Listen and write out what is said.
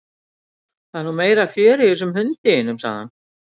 Það er nú meira fjörið í þessum hundi þínum sagði hann.